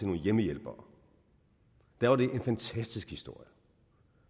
nogle hjemmehjælpere var det en fantastisk historie